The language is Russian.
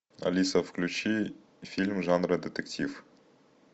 алиса включи фильм жанра детектив